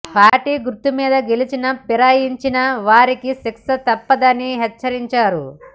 party గుర్తు మీద గెలిచి ఫిరాయించిన వారికి శిక్ష తప్పదని హెచ్చరించారు